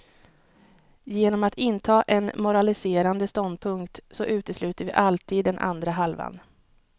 Genom att inta en moraliserande ståndpunkt så utesluter vi alltid den andra halvan.